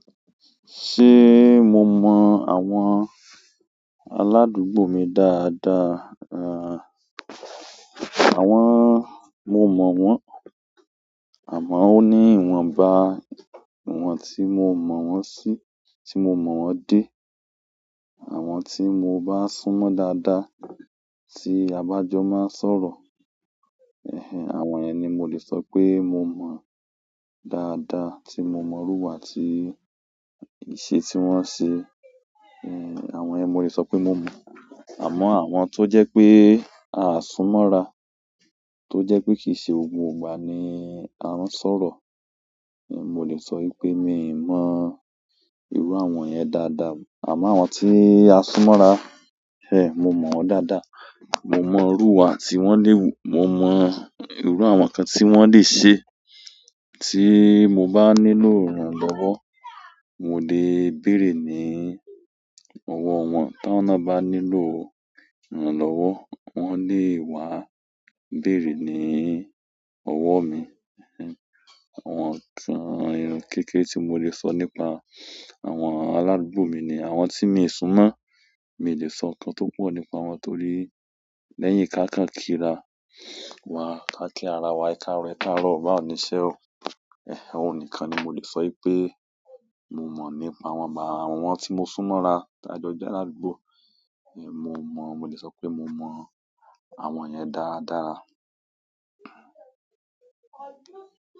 Ṣé mo mọ́ àwọn aládùúgbò mi dáadáa? Ah! Àwọn, mo mo won amo o ni iwonba iwon ti mo mo won si, ti mo mo won de. Àwọn tí mo bá sún mọ́ dáadáa, tí abájọ máa ń sọ̀rọ̀, ẹhn ẹhn, àwọn yẹn ni mo lè sọ pé mo mọ̀ dáadáa, tí mo mọ̀rú iwá ti ìṣe tí wọ́n ń ṣe. Àwọn yẹn mo lè sọ pé mo mọ̀. Àmọ́ àwọn tó jẹ́ pé aa sún mọ́ra, tó jẹ́ pé kì í ṣe gbogbo ìgbà ni a ń sọ̀rọ̀, ehn mo lè sọ wípé mi ò mọ ìrú àwọn yẹn dáadáa. Àmọ́ àwọn tí a sún mọ́ra, mo mọ̀ wọ́n dáadáa. Mo mọ̀rú iwá tí wọ́n le wù, mo mọ ìrú àwọn nkan tí wọ́n lè ṣe. Tí mo bá nílò ìrànlọ́wọ́, mo lè bèrè ní ọwọ́ wọ́n. Ti áwon ná bá nílò ìrànlọ́wọ́, wọ́n lè wá bèrè ní ọwọ́ mi. Ẹhn ẹhn, àwọn kan kékére tí mo lè sọ nípa àwọn aládùúgbò mi ni àwọn tí mii súnmọ́, mi ò lè sọ nǹkan tó pọ̀ nípa wọn torí lẹ́yìn káà kán kí ra wá ká kí ara wa, e káàrọ̀ e káàrọ̀, bá ò ní ṣẹ́ o. Ẹhn ẹnh, oun nìkan ni mo lè sọ wípé mo mọ̀ nípa wọn. Àmọ́ àwọn tí mo sún mọ́ra, t'ájọ́ jẹ́ aládùúgbò, ehn mo mọ̀, mo lè sọ wípé mo mọ̀ àwọn yẹn dáradára.